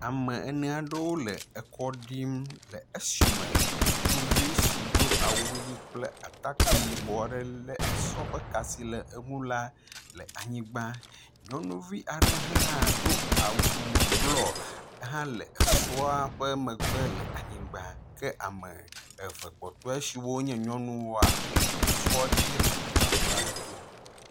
Ame eneaɖewó le ekɔɖim le eshime ŋutsuvi si dó awuyi kple atakpi yibɔaɖe le esɔ ƒe ka si le eŋu la le anyigbã, nyɔnuvi aɖe hã dó awu blɔ hã le esɔa ƒe megbe le anyigba ke ame eve kpɔtoea siwó nye nyɔnuwoa wóle esɔadzi le atsaƒu aɖe tó